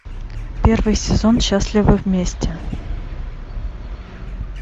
первый сезон счастливы вместе